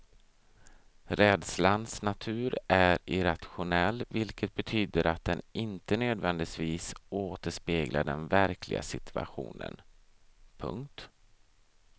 Rädslans natur är irrationell vilket betyder att den inte nödvändigtivis återspeglar den verkliga situationen. punkt